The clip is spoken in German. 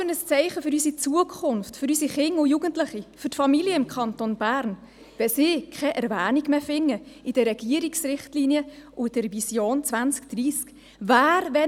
Welches Zeichen für unsere Zukunft, für unsere Kinder und Jugendlichen, für die Familien im Kanton Bern setzt man, wenn diese in den Regierungsrichtlinien und in der Vision 2030 keine Erwähnung mehr finden?